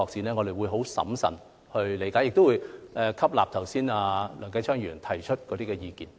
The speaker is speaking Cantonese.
我們將會審慎處理，亦會吸納梁繼昌議員剛才提出的意見。